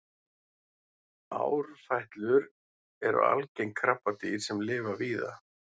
árfætlur eru algeng krabbadýr sem lifa víða